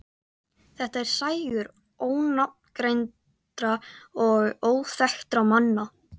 Þetta er sægur ónafngreindra og óþekktra manna.